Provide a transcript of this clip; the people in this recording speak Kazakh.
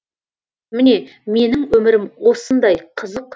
міне менің өмірім осындай қызық